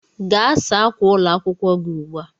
Gaa saa ákwà ụlọ akwụkwọ gi ugbua